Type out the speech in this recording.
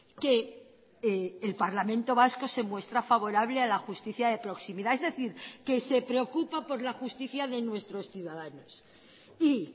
que el parlamento vasco se muestra favorable a la justicia de proximidad es decir que se preocupa por la justicia de nuestros ciudadanos y